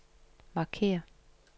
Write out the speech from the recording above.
markér